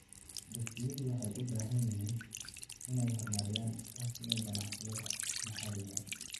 Dugsiyadu waxay u baahan yihiin inay horumariyaan iskaashiga ganacsiyada maxaliga ah.